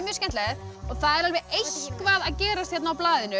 skemmtilegt og það er eitthvað að gerast hérna á blaðinu